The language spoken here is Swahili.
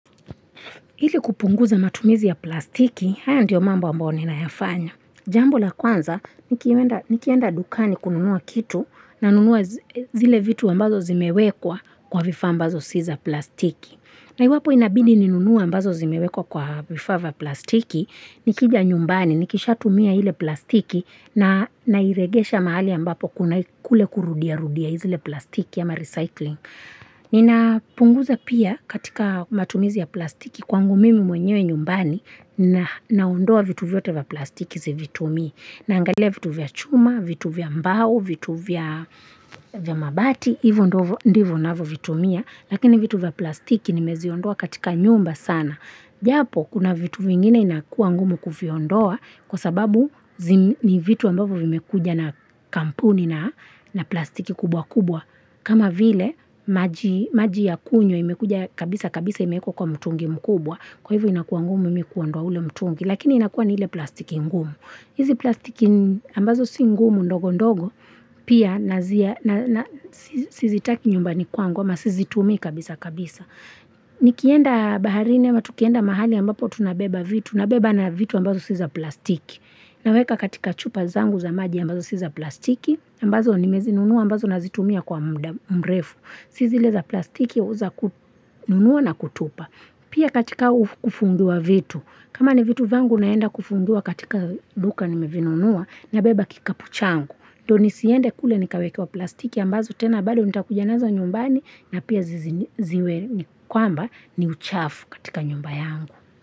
Ili kupunguza matumizi ya plastiki, haya ndiyo mambo ambayo ninayafanya. Jambo la kwanza, nikienda dukani kununua kitu, nanunua zile vitu ambazo zimewekwa kwa vifaa ambazo si za plastiki. Na iwapo inabidi ninunue ambazo zimewekwa kwa vifaa vya plastiki, nikija nyumbani, nikisha tumia ile plastiki na nairegesha mahali ambapo kuna kule kurudia rudia zile plastiki ama recycling. Ninapunguza pia katika matumizi ya plastiki kwangu mimi mwenyewe nyumbani na ondoa vitu vyote vya plastiki zivitumii, na angalia vitu vya chuma, vitu vya mbao, vitu vya vya mabati, hivyo ndivyo ninavyo vitumia. Lakini vitu vya plastiki nimeziondoa katika nyumba sana Japo kuna vitu vingine inakuwa ngumu kuviondoa, kwa sababu ni vitu ambavyo vimekuja na kampuni na plastiki kubwa kubwa. Kama vile, maji ya kunywa imekuja kabisa kabisa imewekwa kwa mtungi mkubwa, kwa hivyo inakuwa ngumu mimi kuondoa ule mtungi, lakini inakuwa ni ile plastiki ngumu. Hizi plastiki ambazo si ngumu ndogo ndogo, pia nazia, na sizitaki nyumbani kwangu, ama sizitumii kabisa kabisa. Nikienda baharini, ama tukienda mahali ambapo tunabeba vitu, na beba na vitu ambazo si za plastiki. Naweka katika chupa zangu za maji ambazo si za plastiki, ambazo nimezinunua ambazo nazitumia kwa mrefu. Si zile za plastiki au za kununua na kutupa. Pia katika kufungua vitu. Kama ni vitu vyangu naenda kufungua katika duka nimevinunua na beba kikapu changu. Ndio nisiende kule nikawekewa plastiki ambazo tena bado nitakuja nazo nyumbani na pia zi ziwe ni kwamba ni uchafu katika nyumba yangu.